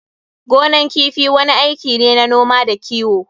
Gonan kifi wani aiki ne na noma da kiwo.